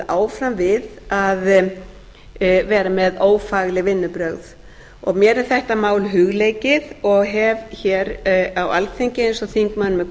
áfram við að vera með ófagleg vinnubrögð mér er þetta mál hugleikið og hef hér á alþingi eins og þingmönnum